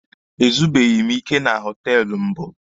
E zubeghi m ike na họtelụ mbụ.